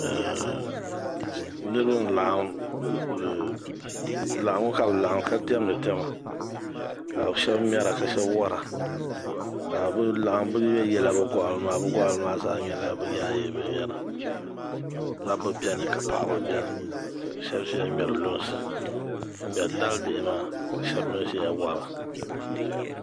Niraba n laɣam laɣangu ka diɛmdi diɛma ka shab ŋmɛra ka shab wora ka bi laɣam ka bi yɛnyɛ bi goɣano maa bi goɣano maa zaa nyɛla bi yaayɛ binyɛra dabba biɛni ka paɣaba biɛni ka shab ʒiya ŋmɛri lunsi n ŋmɛri dali bihi maa ka shab mii ʒiya wora